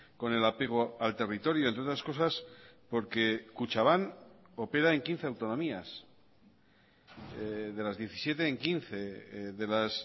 con el apego al territorio entre otras cosas porque kutxabank opera en quince autonomías de las diecisiete en quince de las